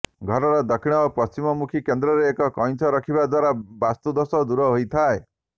ଘରର ଦକ୍ଷିଣ ଓ ପଶ୍ଚିମ ମୁଖୀ କେନ୍ଦ୍ରରେ ଏକ କଇଁଛ ରଖିବା ଦ୍ବାରା ବାସ୍ତୁ ଦୋଷ ଦୂର ହୋଇଥାଏ